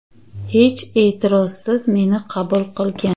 Hech e’tirozsiz meni qabul qilgan.